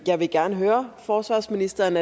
jeg gerne høre forsvarsministeren